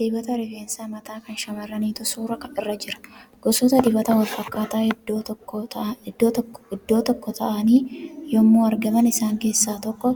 Dibata rifeensa mataa kan shamarraniitu suura irra jira. Gosoota dibataa wal fakkaata iddoo tokko taa'anii yemmuu aragaman isaan keessaa tokko